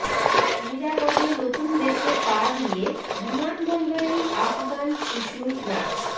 নিরাপদে নতুন দেশে পা দিয়ে বিমানবন্দরেই আফগান শিশুর নাচ